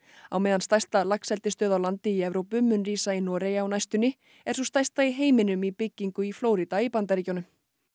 á meðan stærsta laxeldisstöð á landi í Evrópu mun rísa í Noregi á næstunni er sú stærsta í heiminum í byggingu í Flórída í Bandaríkjunum